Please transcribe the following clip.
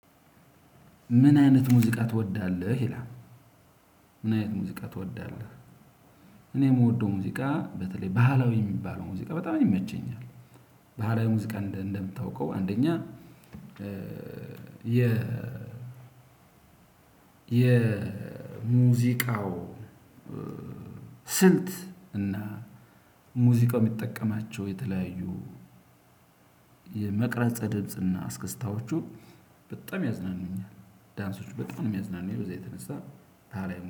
ምን አይነት ሙዚቃ ትወዳለህ ይላል? ምን አይነት ሙዚቃ ትወዳለህ እኔ እምወደው ሙዚቃ በተለይ ባህላዊ የሚባለው ሙዚቃ በጣም ይመቸኛል። ባህላዊ ሙዚቃ እንደሚታወቀው አንደኛ ከ ኧኧ የኧኧ የ ሙዚቃው ስልት እና ሙዚቃው የሚጠቀማቸው የተለያዩ የመቅረጸ ድምጽና አስከስታዎቹ በጣም ያዝናኑኛል። ዳንሶች በጣም የሚያዝናኑኝ ብዛ የተነሳ ባህላዊ